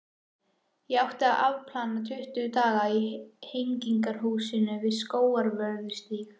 Ég átti að afplána tuttugu daga í Hegningarhúsinu við Skólavörðustíg.